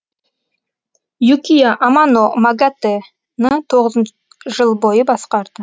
юкия амано магатэ ні тоғызын жыл бойы басқарды